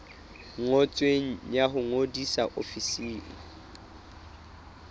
ngotsweng ya ho ngodisa ofising